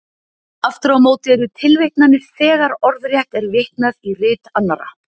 Aftur á móti eru tilvitnanir þegar orðrétt er vitnað í rit annarra.